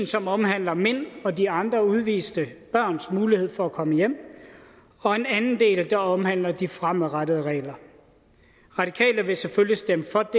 som omhandler mint og de andre udviste børns mulighed for at komme hjem og en anden del der omhandler de fremadrettede regler radikale vil selvfølgelig stemme for